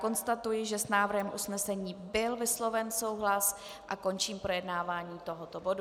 Konstatuji, že s návrhem usnesení byl vysloven souhlas, a končím projednávání tohoto bodu.